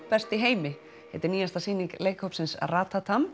best í heimi heitir nýjasta sýning leikhópsins